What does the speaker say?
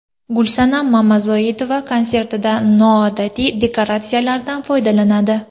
Gulsanam Mamazoitova konsertida noodatiy dekoratsiyalardan foydalanadi.